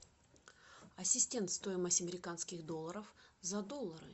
ассистент стоимость американских долларов за доллары